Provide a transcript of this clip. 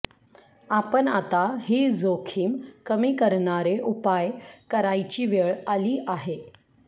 आपण आता ही जोखीम कमी करणारे उपाय करायची वेळ आली आहे